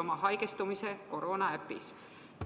oma haigestumise koroonaäpis.